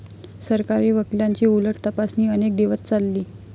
सरकारी वकीलांची उलट तपासणी अनेक दिवस चालली.